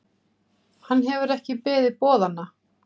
Hann hefur ekki beðið boðanna.